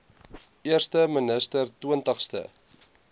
eerste minister twintigste